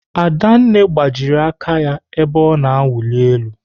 Adanne gbajiri aka ebe ọ na-awuli elu.